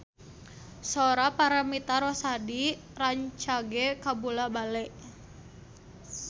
Sora Paramitha Rusady rancage kabula-bale